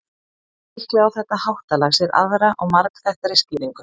en líklega á þetta háttalag sér aðra og margþættari skýringu